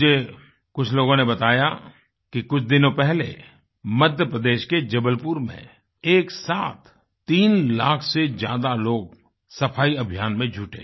मुझे कुछ लोगों ने बताया कि कुछ दिनों पहले मध्यप्रदेश के जबलपुर में एक साथ तीन लाख से ज्यादा लोग सफाई अभियान में जुटे